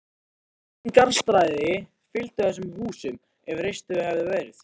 Engin garðstæði fylgdu þessum húsum, ef reist hefðu verið.